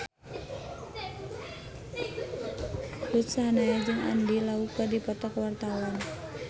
Ruth Sahanaya jeung Andy Lau keur dipoto ku wartawan